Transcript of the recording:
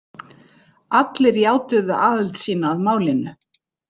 Allir játuðu aðild sína að málinu.